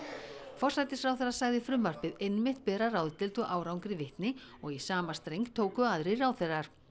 forsætisráðherra sagði frumvarpið einmitt bera ráðdeild og árangri vitni og í sama streng tóku aðrir ráðherrar